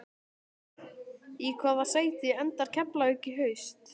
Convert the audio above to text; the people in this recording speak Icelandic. Í hvaða sæti endar Keflavík í haust?